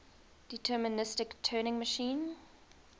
deterministic turing machine